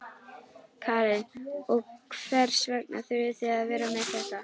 Karen: Og hvers vegna þurfið þið að vera með þetta?